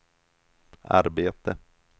arbete